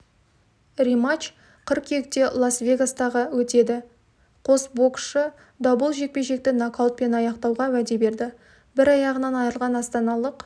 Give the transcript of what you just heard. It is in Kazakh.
рематч қыркүйекте лас-вегастағы өтеді қос боксшы дабұл жекпе-жекті нокаутпен аяқтауға уәде берді бір аяғынан айырылған астаналық